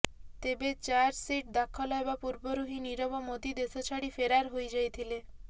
ତେବେ ଚାର୍ଜସିଟ୍ ଦାଖଲ ହେବା ପୂର୍ବରୁ ହିଁ ନିରବ ମୋଦି ଦେଶ ଛାଡି ଫେରାର ହୋଇଯାଇଥିଲେ